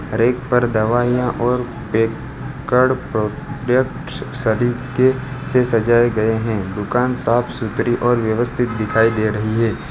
हर एक पर दवाइयां और बेक्ड प्रोडक्ट्स सरीके से सजाये गये है दुकान साफ सुथरी और व्यवस्थित दिखाई दे रही है।